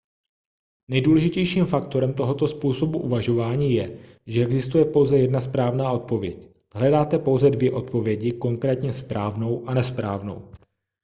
nejdůležitějším faktorem tohoto způsobu uvažování je že existuje pouze jedna správná odpověď hledáte pouze dvě odpovědi konkrétně správnou a nesprávnou